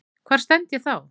Hvar stend ég þá?